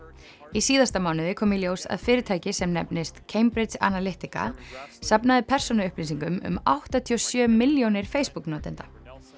í síðasta mánuði kom í ljós að fyrirtæki sem nefnist Cambridge Analytica safnaði persónuupplýsingum um áttatíu og sjö milljónir Facebook notenda